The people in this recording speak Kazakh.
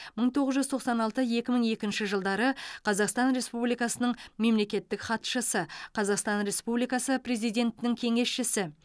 мың тоғыз жүз тоқсан алты екі мың екінші жылдары қазақстан республикасының мемлекеттік хатшысы қазақстан республикасы президентінің кеңесшісі